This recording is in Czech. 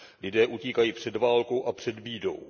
Lidé utíkají před válkou a před bídou.